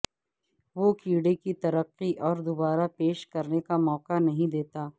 وہ کیڑے کی ترقی اور دوبارہ پیش کرنے کا موقع نہیں دیتا